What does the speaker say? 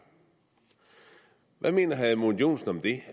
hvad mener herre edmund joensen om det